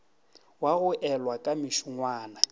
wa go elwa ka mešongwana